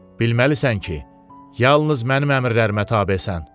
Bilməlisən ki, yalnız mənim əmrlərimə tabesən.